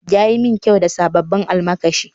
Ya yi min kyau da sabbin almakashi